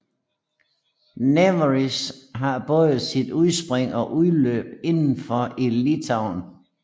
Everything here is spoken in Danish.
Nevėžis har både sit udspring og udløb indenfor i Litauen